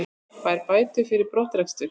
Fær bætur fyrir brottrekstur